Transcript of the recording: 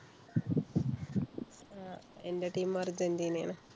ആഹ് എന്‍ടെ team മ് അര്‍ജന്റീനാണ്.